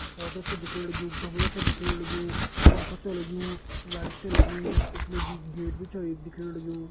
पौधा च दिखेण लग्युं गमला छ दिखेण लग्यू पंखा च लग्यू लाइट च लगी यख मा जी गेट भी छ एक दिखेण लग्यू।